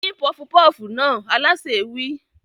Dín pọfupọ́fù náà! Alásè wí.